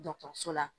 dɔgɔtɔrɔso la